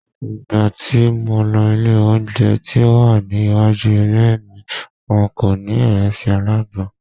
Ìgbà tí mo lọ ilé oúnjẹ tí ó wà ní iwájú ilé mi, wọn kò ní ìrẹsì alágbọ̀n.